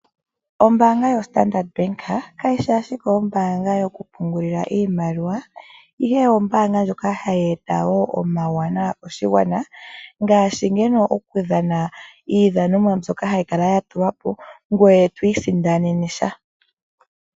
Ombaanga yoStandard Bank kayi shi ashike ombaanga yoku pungulila iimaliwa ihe ombaanga wo ndjoka hayi eta omawanawa koshigwana ngaashi andola oku dhana iidhanomwa mbyono hayi kala ya tulwa po, ngoye to isindanene sha.